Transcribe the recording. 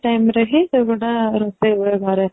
time ରେ ହିଁ ସେ ଗୁଡା ରୋଷେଇ ହୁଏ ଘରେ